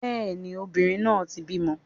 Bẹ́ẹ̀ni, obìnrin náà ti bímọ